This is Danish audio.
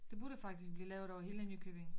Det burde faktisk blive lavet over hele Nykøbing